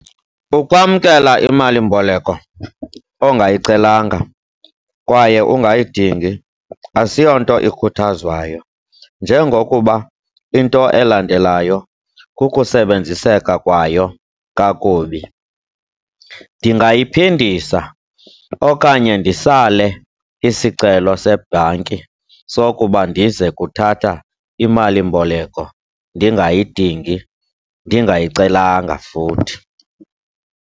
Ukwamkela imalimboleko ongayicelanga kwaye ungayidingi asiyonto ikhuthazwayo njengokuba into elandelayo kukusebenziseka kwayo kakubi. Ndingayiphindisa okanye ndisale isicelo sebhanki sokuba ndize kuthatha imalimboleko ndingayidingi, ndingayicelanga futhi.